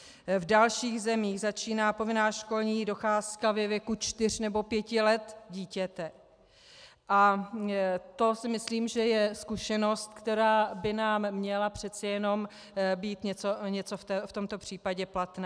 V dalších zemích začíná povinná školní docházka ve věku čtyř nebo pěti let dítěte a to si myslím, že je zkušenost, která by nám měla přece jen být něco v tomto případě platná.